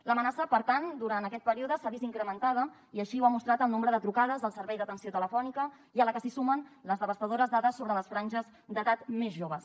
l’amenaça per tant en aquest període s’ha vist incrementada i així ho ha mostrat el nombre de trucades al servei d’atenció telefònica i a la que s’hi sumen les devastadores dades sobre les franges d’edat més joves